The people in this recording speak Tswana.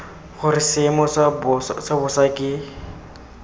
gore seemo sa bosa ke